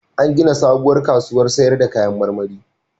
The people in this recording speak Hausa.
An gina sabuwar kasuwar sayar da kayan marmari.